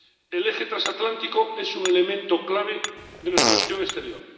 El eje transatlántico es un elemento clave de nuestra acción exterior.